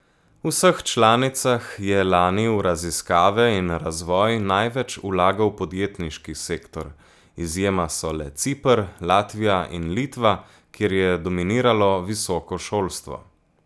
V vseh članicah je lani v raziskave in razvoj največ vlagal podjetniški sektor, izjema so le Ciper, Latvija in Litva, kjer je dominiralo visoko šolstvo.